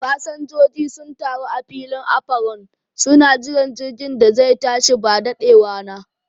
Fasanjoji sun taru a filin afaron, suna shiga jirgin da zai tashi ba daɗewana